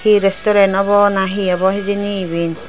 hi resturen obow nahi obow hijeni iben.